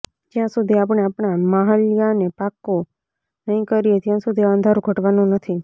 જ્યાં સુધી આપણે આપણા માંહ્યલાને પાકો નહીં કરીએ ત્યાં સુધી આ અંધારું ઘટવાનું નથી